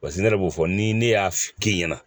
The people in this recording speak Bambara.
Paseke ne yɛrɛ b'o fɔ ni ne y'a kɛ ɲɛna